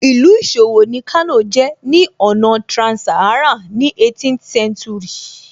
Ìlú ìṣòwò ni Kano jẹ́ ní ọ̀nà trans-Saharan ní 18th century